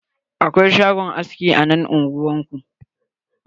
Akwai shagon aski a nan unguwan ku?